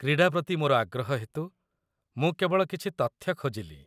କ୍ରୀଡ଼ା ପ୍ରତି ମୋର ଆଗ୍ରହ ହେତୁ ମୁଁ କେବଳ କିଛି ତଥ୍ୟ ଖୋଜିଲି।